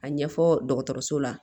A ɲɛfɔ dɔgɔtɔrɔso la